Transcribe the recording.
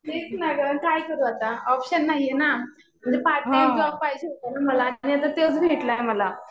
तेच ना गं. काय करू आता ऑपशन नाहीये ना. म्हणजे पार्ट टाइम जॉब पाहिजे होता ना मला. आणि आता तोच भेटला ना मला.